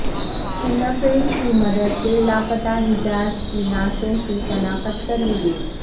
finger prints کی مدد سے لاپتہ حجاج کی نعشوں کی شناخت کر لی گئی